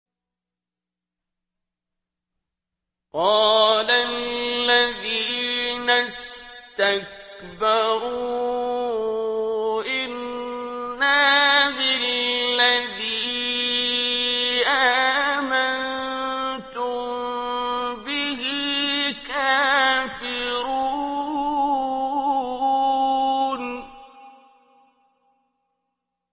قَالَ الَّذِينَ اسْتَكْبَرُوا إِنَّا بِالَّذِي آمَنتُم بِهِ كَافِرُونَ